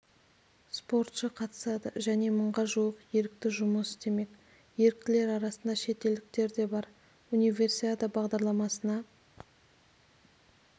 спортшы қатысады және мыңға жуық ерікті жұмыс істемек еріктілер арасында шетелдіктер де бар универсиада бағдарламасына